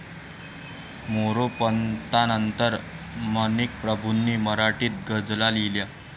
मोरोपंतांनंतर माणिकप्रभूंनी मराठीत गझला लिहिल्या.